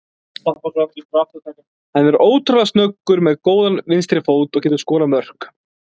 Hann er ótrúlega snöggur, með mjög góðan vinstri fót og getur skorað mörk.